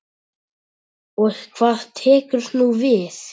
Og hvað tekur nú við?